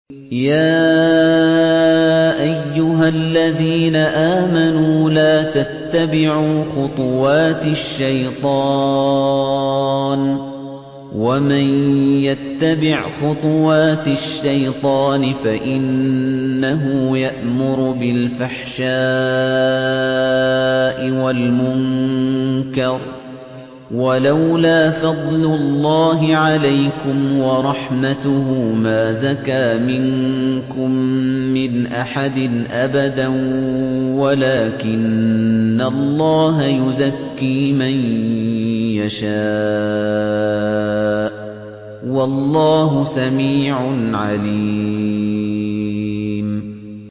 ۞ يَا أَيُّهَا الَّذِينَ آمَنُوا لَا تَتَّبِعُوا خُطُوَاتِ الشَّيْطَانِ ۚ وَمَن يَتَّبِعْ خُطُوَاتِ الشَّيْطَانِ فَإِنَّهُ يَأْمُرُ بِالْفَحْشَاءِ وَالْمُنكَرِ ۚ وَلَوْلَا فَضْلُ اللَّهِ عَلَيْكُمْ وَرَحْمَتُهُ مَا زَكَىٰ مِنكُم مِّنْ أَحَدٍ أَبَدًا وَلَٰكِنَّ اللَّهَ يُزَكِّي مَن يَشَاءُ ۗ وَاللَّهُ سَمِيعٌ عَلِيمٌ